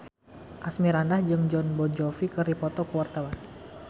Asmirandah jeung Jon Bon Jovi keur dipoto ku wartawan